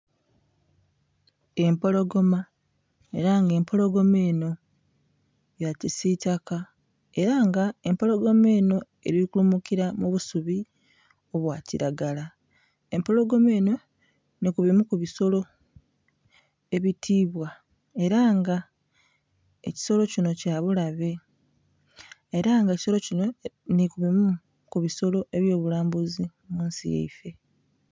Empologoma ela nga empologoma enho ya kisitaka ela nga empologoma enho eli kulumukila mu busubi obwakilagala, empologoma enho, nhi kubimu ku bisolo ebitiibwa ela nga ekisilo kinho kya bulabe ela nga ekisolo kinho nhi kubimu ku bisolo ebyobulambusi munsi yaife.